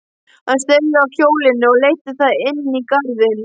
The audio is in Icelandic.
Hann steig af hjólinu og leiddi það inní garðinn.